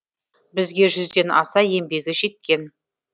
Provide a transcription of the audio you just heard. бізге жүзден аса еңбегі жеткен